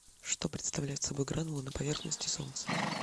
что представляют собой гранулы на поверхности солнца